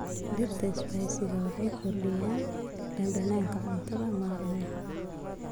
Dhirta spices waxay kordhiyaan dhadhanka cuntada maalinlaha ah.